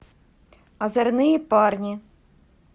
озорные парни